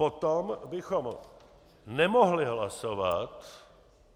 Potom bychom nemohli hlasovat